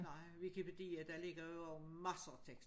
Nej hvilke værdier der ligger jo masser af tekster